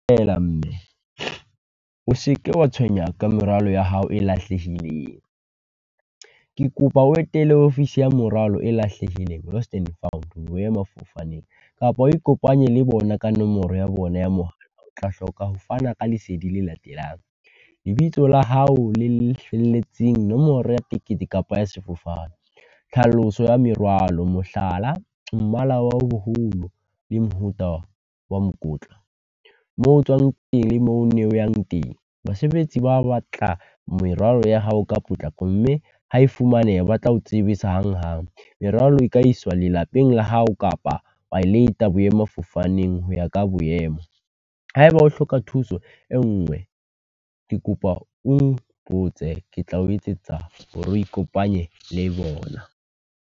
mme, o se ke wa tshwenyeha ka merwalo ya hao e lahlehileng. Ke kopa o etele ofisi ya moralo e lahlehileng lost and found, boemafofaneng, kapa o ikopanye le bona ka nomoro ya , o tla hloka ho fana ka lesedi le latelang. Lebitso la hao le felletseng, nomoro ya tekete kapa ya sefofane, tlhaloso ya merwalo mohlala, mmala wa ho boholo le mofuta wa mokotla, moo o tswang teng, le moo o ne o yang teng. Basebetsi ba batla merwalo ya hao ka potlako mme ha e fumaneha ba tla ho tsebisa hanghang. Merwalo e ka iswa lelapeng la hao kapa wa e leta boemafofaneng ho ya ka boemo. Ha e ba o hloka thuso e nngwe, ke kopa o mpotse ke tla o etsetsa hore o ikopanye le bona.